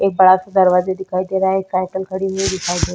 एक बड़ा सा दरवाजा दिखाई दे रहा है । एक साइकिल खड़ीं हुई दिखाई दे --